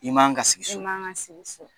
I man ga sigi so, i man ga sigi so.